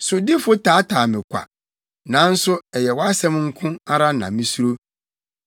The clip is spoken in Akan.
Sodifo taataa me kwa, nanso ɛyɛ wʼasɛm nko ara na misuro.